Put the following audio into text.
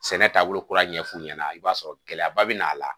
Sɛnɛ taabolo kura ɲɛ f'u ɲɛna i b'a sɔrɔ gɛlɛyaba bɛ n'a la